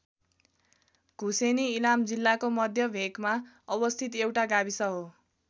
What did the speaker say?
धुसेनी इलाम जिल्लाको मध्य भेकमा अवस्थित एउटा गाविस हो।